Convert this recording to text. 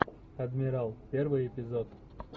адмирал первый эпизод